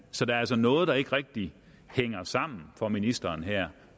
så der er altså noget der ikke rigtig hænger sammen for ministeren her